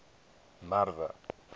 merwe